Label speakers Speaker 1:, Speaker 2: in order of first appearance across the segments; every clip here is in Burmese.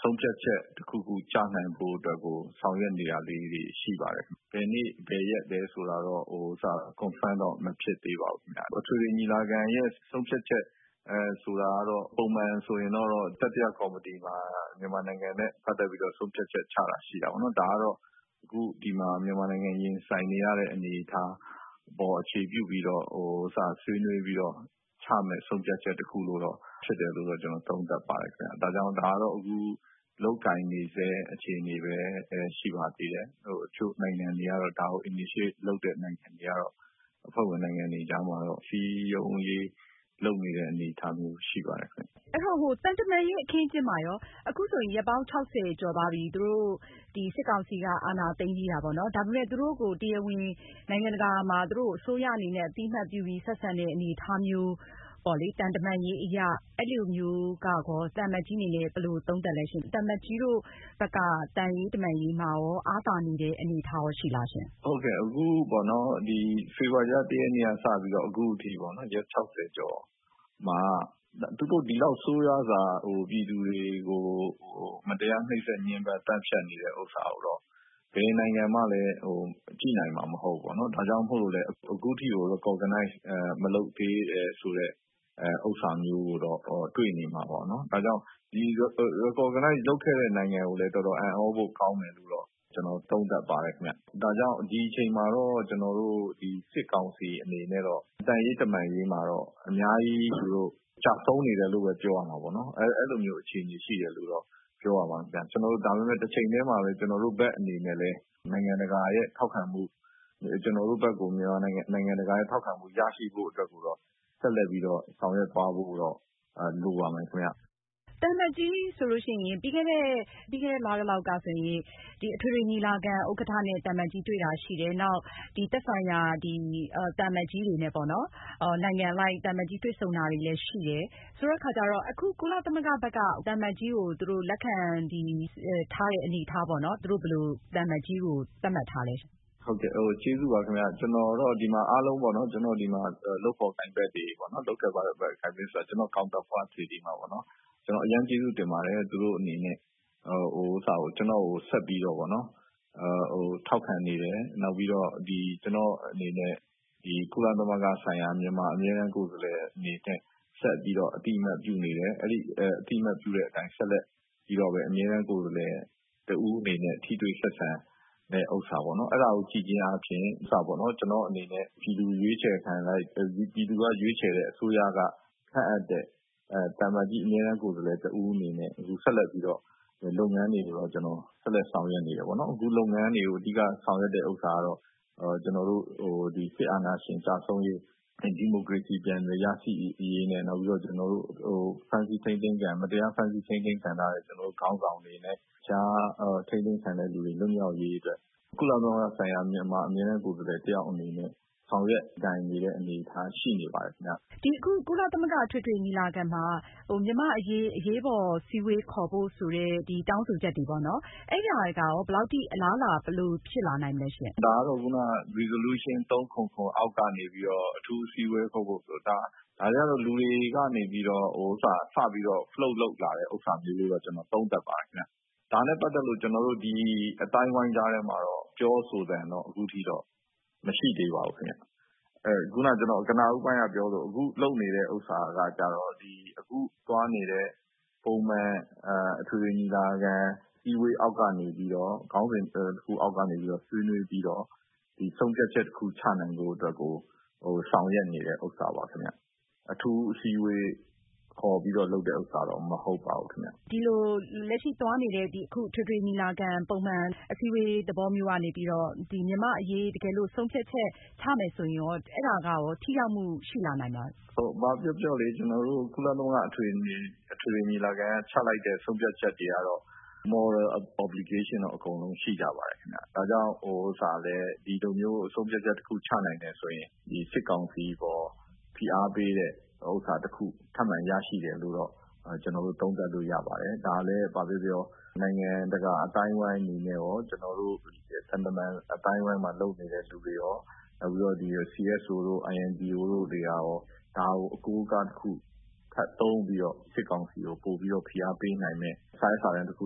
Speaker 1: ဆုံးဖြတ်ချက် တခုခု ကျနိုင်ဖို့အတွက်ကို ဆောင်ရွက်နေတာတွေရှိပါတယ်။ ဘယ်နေ့၊ ဘယ်ရက် လဲဆိုတာကတော့ Confirm တော့ မဖြစ်သေးပါဘူး။ အထွေထွေညီလာခံရဲ့ ဆုံးဖြတ်ချက်ဆိုတာကတော့ ပုံမှန်ကတော့ တတိယကော်မတီမှာ မြန်မာနိုင်ငံနဲ့ ပတ်သက်ပြီးတော့ ဆုံးဖြတ်ချက်ချတာ ရှိတာပေါ့နော်။ ဒါကတော့ အခုဒီမှာ မြန်မာနိုင်ငံ ရင်ဆိုင်နေရတဲ့ အနေအထားအပေါ် အခြေပြုပြီးတော့ ဆွေးနွေးပြီးတော့ ချမယ့် ဆုံးဖြတ်ချက်တခု ဖြစ်တယ်လို့တော့ ကျနော်သုံးသပ်ပါတယ်။ ဒါကြောင့် ဒါကတော့ အခု လုပ်ကိုင်နေစဲ အခြေအနေပဲ ရှိပါသေးတယ်။ အချို့ ဒါကို Initiate လုပ်တဲ့ နိုင်ငံတွေကတော့ အဖွဲ့ဝင်နိုင်ငံတွေကြားမှာတော့ စည်းရုံးရေး လုပ်နေတဲ့ အနေအထားမျိုး ရှိပါတယ်။ မ
Speaker 2: အင်ကြင်းနိုင်။ ။ အဲဒီတော့ သံတမန်ရေးအခင်းအကျင်းမှာရော အခုဆိုရင် ရက်ပေါင်း ၆၀ ကျော်သွားပြီ စစ်ကောင်စီက အာဏာသိမ်းပြီးတာပေါ့နော်။ ဒါပေမယ့် သူတို့ကို နိုင်ငံတကာမှာ တရားဝင် အစိုးရအနေနဲ့ တရားဝင် အသိအမှတ်ပြုပြီး ဆက်ဆံတဲ့အနေအထားမျိုးပေါေ့လ၊ သံတမန်ရေးအရ အဲလိုမျိုး ရော သံအမတ်ကြီးအနေနဲ့ ဘယ်လိုသုံးသပ်သလဲရှင့်။ သံအမတ်ကြီးတို့ဘက်က သံရေး တမန်ရေးမှာရော အားသာနေတဲ့ အနေအထားရှိလားရှင့်
Speaker 1: ။ သံအမတ်ကြီး ဦးကျော်မိုးထွန်း။ ။ ဟုတ်ကဲ့ အခုပေါ့နော် ဖေဖော်ဝါရီလ ၁ ရက်နေ့က စပြီးတော့ပေါ့နော် အခုအထိပေါ့နော် ရက် ၆၀ ကျော်မှာ သူတို့ ဒီလောက် ဆိုးရွာစွာ ပြည်သူတွေကို မတရားနှိတ်စက် ညှဉ်းပမ်း သတ်ဖြတ်နေတာ ကိုတော့ ဘယ်နိုင်ငံမှလည်း ကြည့်နိုင်မှ မဟုတ်ဘူး ။ဒါကြောင့်မို့ အခုအထိ Recognize မလုပ်သေးတာ ဆိုတဲ့ ဟာမျိုးကိုတော့တွေ့နေမှာပေါ့နော်။ ဒီ Recognize လုပ်ခဲ့တဲ့ နိုင်ငံကိုလည်း တော်တော်အံသြဖို့ကောင်းတယ်လို့တော့ ကျနော်သုံးသပ်ပါတယ်။ ဒါကြောင့် ဒီအချိန်မှာတော့ စစ်ကောင်စီအနေနဲ့တော့ သံရေး တမန်ရေးမှာတော့ အများကြီး ကျဆုံးနေတယ်လို့ ပြောရမှာပေါ့နော် အဲလိုမျိုး အခြေအနေရှိတယ်လို့ ပြောရမှာခင်ဗျ။ ဒါပေမယ့် တချိန်တည်းမှာပဲ ကျနော်တို့ဘက်အနေနဲ့ နိုင်ငံတကာရဲ့ ထောက်ခံမှု ရရှိဖို့အတွက်ကို ဆက်လက်ပြီးတော့ ဆောင်ရွက်သွားဖို့တော့ လိုပါမယ်။ မအင
Speaker 2: ်ကြင်းနိုင်။ ။ သံအမတ်ကြီးဆိုရင် ပြီးခဲ့တဲ့ လလောက်ကဆိုရင် အထွေထွေညီလာခံ ဥက္ကဌနဲ့ တွေ့တာရှိတယ်။ နောက်သက်ဆိုင်ရာ သံအမတ်ကြီးတွေနဲ့ပေါ့နော် နိုင်ငံအလိုက် သံအမတ်ကြီးတွေ့ဆုံတာလည်းရှိတယ် ဆိုတဲ့အခါကျတော့ အခု ကုလသမဂ္ဂက သံအမတ်ကြီးကို လက်ခံထားတဲ့အနေအထားပေါ့နော် သူတို့ဘယ်လို သံအမတ်ကြီးကို သတ်မှတ်ထားသလဲရှင့်။
Speaker 1: သံအမတ်ကြီး ဦးကျော်မိုးထွန်း။ ။ ကျေးဇူးပါခင်ဗျ ကျနော်တော့ ဒီမှာ အားလုံးပေါ့နော် ၊ ဒီမှာ လုပ်ဖော်ကိုင်ဖက်တွေပေါေ့နာ် ကျနော့် counterpart တွေကို အရမ်းကျေးဇူးတင်ပါတယ်။ သူတို့အနေနဲ့ ကျနော့်ကို ဆက်ပြီးတော့ ထောက်ခံနေတယ် ၊ နောက်ပြီးတော့ ကျနော့်အနေနဲ့ ကုလသမဂ္ဂဆိုင်ရာ မြန်မာအမြဲတမ်းကိုယ်စားလှယ်အနေနဲ့ ဆက်ပြီးတော့ အသိအမှတ်ပြုနေတယ်။ အဲဒီလို အသိအမှတ်ပြုတဲ့အတိုင်း ဆက်ပြီးတော့ မြန်မာအမြဲတမ်းကိုယ်စားလှယ်တဦးအနေနဲ့ ထိတွေ့ဆက်ဆံတဲ့ဟာပေါ့နော် အဲဒါကို ကြည့်ချင်းအားဖြင့် ကျနော့်အနေနဲ့ ပြည်သူရွေးချယ်တဲ့ အစိုးရက ခန့်အပ်တဲ့ သံအမတ်ကြီးအမြဲတမ်းကိုယ်စားလှယ်တဦးအနေနဲ့ ဆက်လက်ပြီးတော့ လုပ်ငန်းတွေကို ကျနော် ဆက်လက် ဆောင်ရွက်နေတယ်ပေါ့နော်။ အခုလုပ်ငန်းတွေကို အဓိက ဆောင်ရွက်တဲ့ ဥစ္စာကတော့ ကျနော်တို့ စစ်အာဏာရှင် ကျဆုံးရေး ၊ ဒီမိုကရေစီ ပြန်လည်ရရှိရေး နဲ့ မတရားဖမ်းဆီးထိန်းသိမ်းခံထားရတဲ့ ကျနော်တို့ ခေါင်းဆောင်တွေနဲ့ တခြား အထိန်းသိမ်းခံထားရသူတွေ လွတ်မြောက်ရေးအတွက် ကုလသမဂ္ဂဆိုင်ရာ မြန်မာအမြဲတမ်းကိုယ်စားလှယ်အနေနဲ့ ဆောင်ရွက်နေတဲ့ အနေအထားရှိနေပါတယ်ခင်ဗျ။ မ
Speaker 2: အင်ကြင်းနိုင်။ ။ ကုလသမဂ္ဂ အထွေထွေညီလာခံမှာ မြန်မာ့အရေး အရေးပေါ်အစည်းအဝေးခေါ်ဖို့ ဆိုပြီးတော့ တောင်းဆိုချက်တွေပေါ့နော် အဲဒါတွေကရော ဘယ်လောက်အထိ အလားအလာ ဘယ်လို ဖြစ်လာနိုင်ပါသလဲ
Speaker 1: ။ သံအမတ်ကြီး ဦးကျော်မိုးထွန်း။ ။ ဒါကတော့ ခုန Resolution377 အောက်ကနေပြီးတော့ အထူးအစည်းအဝေးခေါ်ဖို့။ ဒါတွေကတော့ လူတွေကနေပြီးတော့ စပြီး Float လုပ်လာတယ်လို့ ကျနော် သုံးသပ်ပါတယ်ခင်ဗျ။ ဒါနဲ့ ပတ်သက်လို့ ကျနော်တို့ အသိုင်းအဝိုင်းကြားထဲမှာတော့ ပြောဆိုသံကတော့ အခုအထိ မရှိသေးပါဘူး။ ခုန ကျနော် ပြောသလို အခုလုပ်နေဟာ အခုသွားနေတဲ့ ပုံမှန် အထွေထွေညီလာခံ အစည်းအဝေး အောက်ကနေပြီးတော့ ခေါင်းစဉ်တခု အောက်ကနေပြီးတော့ ဆွေးနွေးပြီးတော့ ဒီ ဆုံးဖြတ်ချက်တခု ချနိုင်ဖို့အတွက်ကို ဆောင်ရွက်နေတဲ့ဥစ္စာပေါ့နော် ။ အထူး အစည်းအဝေးခေါ်တာတော့ မဟုတ်ပါဘူးခင်ဗျ။
Speaker 2: မအင်ကြင်းနိုင်။ ။ ဒီလို လက်ရှိသွားနေတဲ့ အခု အထွေထွေညီလာခံ ပုံမှန်အစည်းအဝေး သဘောမျိုးကနေပြီးတော့ မြန်မာ့အရေး တကယ်လို့ ဆုံးဖြတ်ချက် ချမယ်ဆိုရင်ရော အဲဒါကရော ထိရောက်မှုရှိလာနိုင်မလား
Speaker 1: ။ သံအမတ်ကြီး ဦးကျော်မိုးထွန်း။ ။ ဘာပြောပြောလေ ကျနော်တို့ ကုလသမဂ္ဂ အထွေထွေညီလာခံက ချလိုက်တဲ့ ဆုံးဖြတ်ချက်တွေကတော့ Moral obligation တော့ အကုန်လုံးရှိကြပါတယ်။ ဒါကြောင့် ဒီလိုမျိုး ဆုံးဖြတ်ချက်တခု ချနိုင်တယ်ဆိုရင် စစ်ကောင်စီအပေါ် ဖိအားပေးတဲ့ဟာတခု ထပ်မံရရှိတယ်လို့တော့ ကျနော်တို့ သုံးသပ်လို့ ရပါတယ်။ ဒါလည်း ဘာပဲပြောပြော နိုင်ငံတကာ အသိုင်းအဝိုင်းနဲ့ရော ကျနော်တို့ သံတမန်အသိုင်းအဝိုင်းမှာ လုပ်နေတဲ့သူနဲ့ရော ၊ CSO တို့ INGO တို့တွေကရော ဒါကို အကိုးအကားတခု ထပ်သုံးပြီးတော့ စစ်ကောင်စီကို ပိုပြီးတော့ ဖိအားပေးနိုင်မယ့် စာရွက်စာတန်းတခု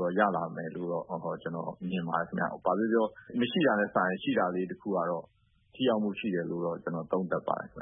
Speaker 1: တော့ ရလာမယ်လို့တော့ ကျနော်မြင်ပါတယ်ခင်ဗျ။ ဘာပဲပြောပြော မရှိတာထက်စာရင် ရှိတာလေးတခုကတော့ ထိရောက်မှု ရှိတယ်လို့ ကျနော်သုံးသပ်ပါတယ်ခင်